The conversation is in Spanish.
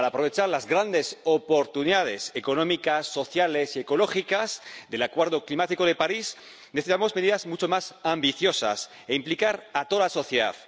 Para aprovechar las grandes oportunidades económicas, sociales y ecológicas del Acuerdo climático de París necesitamos medidas mucho más ambiciosas e implicar a toda la sociedad.